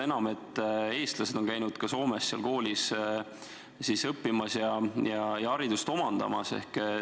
Ja eestlased on käinud Soomes seal koolis õppimas ja haridust omandamas.